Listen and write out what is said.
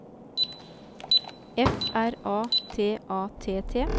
F R A T A T T